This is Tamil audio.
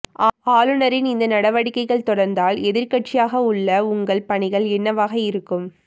ஆளுநரின் இந்த நடவடிக்கைகள் தொடர்ந்தால் எதிர்க்கட்சியாக உள்ள உங்கள் பணிகள் என்னவாக இருக்கும்